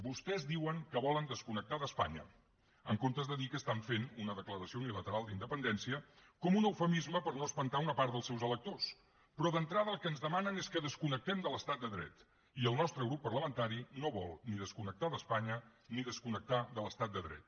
vostès diuen que volen desconnectar d’espanya en comptes de dir que estan fent una declaració unilateral d’independència com un eufemisme per no espantar una part dels seus electors però d’entrada el que ens demanen és que desconnectem de l’estat de dret i el nostre grup parlamentari no vol ni desconnectar d’espanya ni desconnectar de l’estat de dret